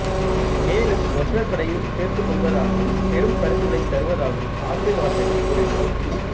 மேலும் ஒற்றர் படையில் சேர்த்துக் கொள்வதாகவும் பெரும் பரிசுகளைத் தருவதாகவும் ஆசைவார்த்தைகள் கூறினாள்